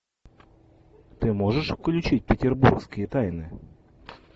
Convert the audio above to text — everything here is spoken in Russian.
ты можешь включить петербургские тайны